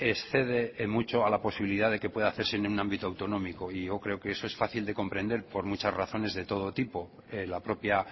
excede en mucho a la posibilidad de que pueda hacerse en un ámbito autonómico y yo creo que esto es fácil de comprender por muchas razones de todo tipo la propia